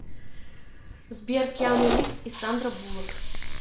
сбер киану ривз и сандра булак